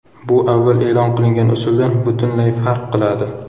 Bu avval e’lon qilingan usuldan butunlay farq qiladi.